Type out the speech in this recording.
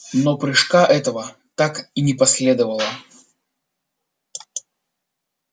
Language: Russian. но прыжка этого так и не последовало